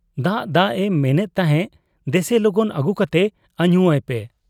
ᱫᱟᱜ ᱫᱟᱜ ᱮ ᱢᱮᱱᱮᱫ ᱛᱟᱦᱮᱸ ᱫᱮᱥᱮ ᱞᱚᱜᱚᱱ ᱟᱹᱜᱩ ᱠᱟᱛᱮ ᱟᱹᱧᱩ ᱟᱭ ᱯᱮ ᱾